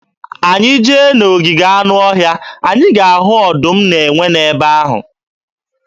Anyị jee na ogige anụọhịa, anyị ga-ahụ ọdụm na enwe n'ebe ahụ.